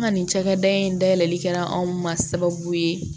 An ka nin cakɛda in dayɛlɛli kɛra anw ma sababu ye